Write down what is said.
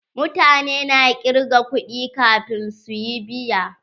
Mutane na kirga kuɗi kafin su yi biya.